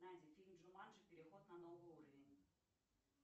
найди фильм джуманджи переход на новый уровень